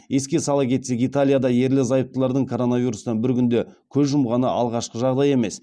еске сала кетсек италияда ерлі зайыптылардан коронавирустан бір күнде көз жұмғаны алғашқы жағдай емес